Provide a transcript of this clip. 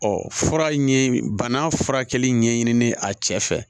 Ɔ fura ye bana furakɛli ɲɛɲinini a cɛ fɛ